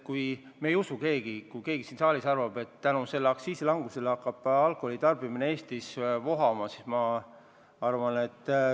Kui keegi siin saalis arvab, et selle aktsiisi langetamise tõttu hakkab Eestis alkoholi tarbimine vohama – no ei.